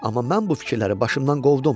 Amma mən bu fikirləri başımdan qovdum.